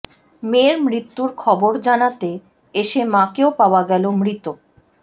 মেয়ের মৃত্যুর খবর জানাতে এসে মাকেও পাওয়া গেল মৃত